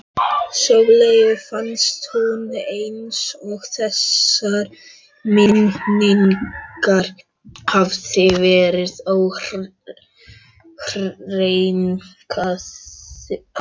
Sóleyju fannst nú eins og þessar minningar hefðu verið óhreinkaðar.